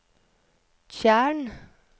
tjern